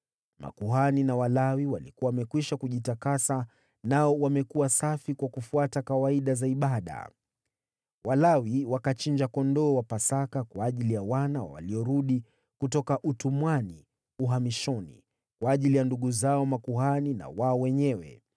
Makuhani na Walawi walikuwa wamekwisha kujitakasa nao wamekuwa safi kwa kufuata kawaida za ibada. Walawi wakachinja kondoo wa Pasaka kwa ajili ya wana wa waliorudi kutoka utumwani uhamishoni, kwa ajili ya ndugu zao makuhani na wao wenyewe.